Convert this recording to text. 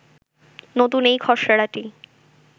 নতুন এই খসড়াটি